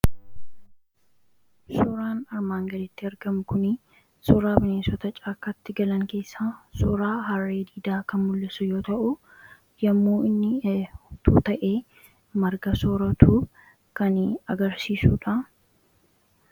suuraan armaan gadiitti argamu kun suuraa bineensota caakkaatti galan keessa suuraa harre diidaa kan mullisu yoo ta'u yemmuu inni hedduu ta'ee marga soratuu kan agarsiisuudha.